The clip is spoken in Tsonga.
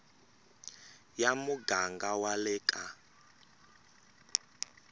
ya muganga wa le ka